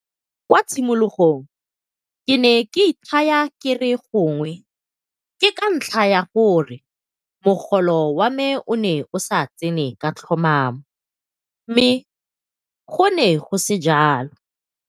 Kwa tshimologong ke ne ke ithaya ke re gongwe ke ka ntlha ya gore mogolo wa me o ne o sa tsene ka tlhomamo, mme go ne go se jalo.